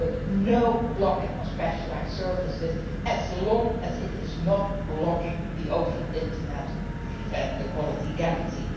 So there must be no blocking of specialised services as long as they are not blocking the open Internet and the quality guarantee.